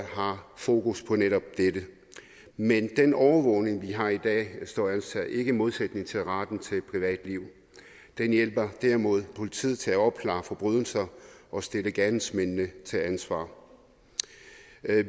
har fokus på netop dette men den overvågning vi har i dag står altså ikke i modsætning til retten til et privatliv den hjælper derimod politiet til at opklare forbrydelser og stille gerningsmændene til ansvar